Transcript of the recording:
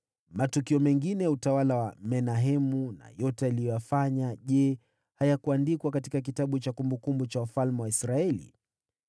Matukio mengine ya utawala wa Menahemu na yote aliyoyafanya, je, hayakuandikwa katika kitabu cha kumbukumbu za wafalme wa Israeli?